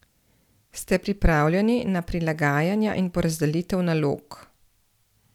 Ste pripravljeni na prilagajanja in porazdelitev nalog?